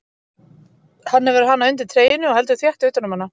Hann hefur hana undir treyjunni og heldur þétt utan um hana.